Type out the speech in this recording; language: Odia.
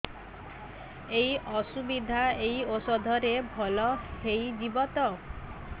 ଏଇ ଅସୁବିଧା ଏଇ ଔଷଧ ରେ ଭଲ ହେଇଯିବ ତ